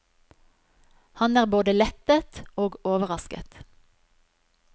Han er både lettet og overrasket.